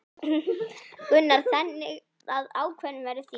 Gunnar: Þannig að ákvörðunin verður þín?